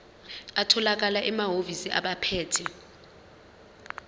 atholakala emahhovisi abaphethe